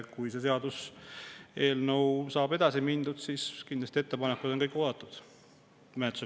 Kui selle seaduseelnõuga saab edasi mindud, siis on menetluse käigus kindlasti kõik ettepanekud oodatud.